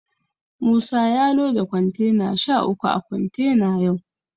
Musa ya loda kontena sha uku a kontena yau.